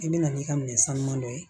I bɛ na n'i ka minɛn sanuman dɔ ye